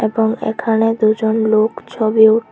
এবং এখানে দুজন লোক ছবি উ--